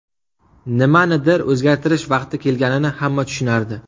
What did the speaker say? Nimanidir o‘zgartirish vaqti kelganini hamma tushunardi.